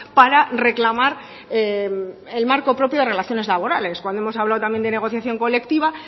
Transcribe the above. para reclamar el marco propio de relaciones labores cuando hemos hablado también de negociación colectiva